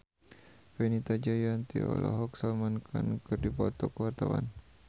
Fenita Jayanti jeung Salman Khan keur dipoto ku wartawan